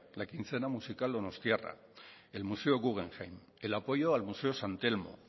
la quincena musical donostiarra el museo guggenheim el apoyo al museo san telmo